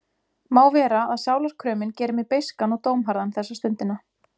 Má vera að sálarkrömin geri mig beiskan og dómharðan þessa stundina.